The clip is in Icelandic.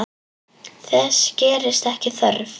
Þess gerist ekki þörf.